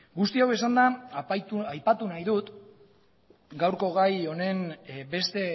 guzti hau esanda aipatu nahi dut gaurko gai honen beste